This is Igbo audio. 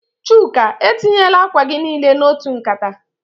Chuka, etinyela akwa gi nile n'otu nkata.